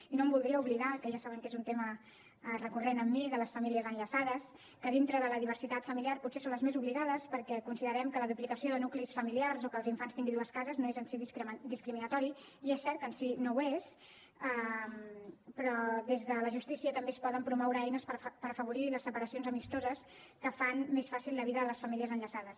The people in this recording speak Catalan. i no em voldria oblidar que ja saben que és un tema recurrent en mi de les famílies enllaçades que dintre de la diversitat familiar potser són les més oblidades perquè considerem que la duplicació de nuclis familiars o que els infants tinguin dues cases no és en si discriminatori i és cert que en si no ho és però des de la justícia també es poden promoure eines per afavorir les separacions amistoses que fan més fàcil la vida a les famílies enllaçades